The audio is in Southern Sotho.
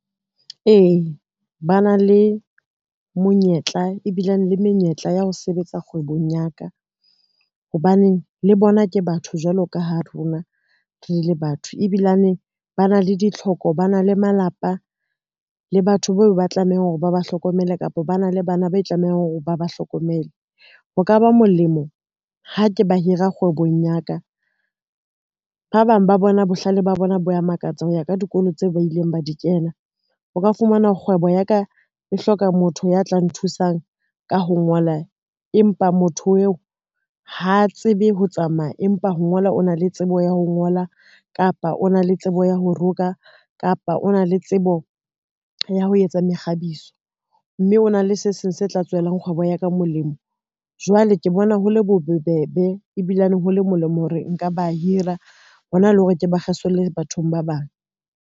Ee, ba na le monyetla ebilane le menyetla ya ho sebetsa kgwebong ya ka, hobaneng le bona ke batho jwalo ka ha rona re le batho ebilane ba na le ditlhoko, ba na le malapa le batho beo ba tlamehang hore ba ba hlokomele, kapa ba na le bana ba tlamehang hore ba ba hlokomele. Ho ka ba molemo ha ke ba hira kgwebong ya ka, ba bang ba bona bohlale ba bona bo a makatsa ho ya ka dikolo tseo ba ileng ba di kena. O ka fumana kgwebo ya ka e hloka motho ya tla nthusang ka ho ngola, empa motho eo hola tsebe ho tsamaya empa ho ngola, o na le tsebo ya ho ngola, kapa o na le tsebo ya ho roka, kapa o na le tsebo ya ho etsa mekgabiso, mme o na le se seng se tla tswelang kgwebo ya ka molemo. Jwale ke bona ho le bobebe ebilane ho le molemo hore nka ba hira hona le hore ke ba kgesolle bathong ba bang.